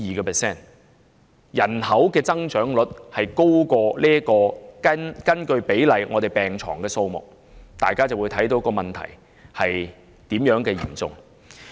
當人口增長率高於人口與病床比例的增幅時，大家便明白問題是多麼的嚴重了。